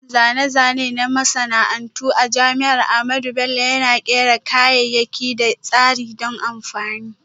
Sashen Zane-zane na Masana'antu a Jami'ar Ahmadu Bello Yana Kera kayayyaki da tsarin don amfani.